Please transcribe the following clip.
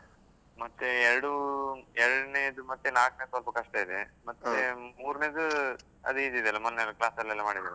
ಮತ್ತೆ ಎರಡೂ, ಎರಡ್ನೇದು ಮತ್ತೆ ನಾಲ್ಕ್ನೆದು ಸ್ವಲ್ಪ ಕಷ್ಟ ಇದೆ. ಮತ್ತೆ ಮೂರ್ನೆದು ಅದ್ easy ಇದೆಯಲ್ಲ, ಮೊನ್ನೆ ಎಲ್ಲ class ಅಲ್ಲೆಲ್ಲಾ ಮಾಡಿದ್ದಾರಲ್ಲ.